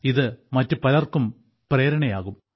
ഇത് മറ്റു പലർക്കും പ്രേരണയാകും